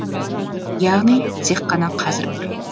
яғни тек қана қазір бар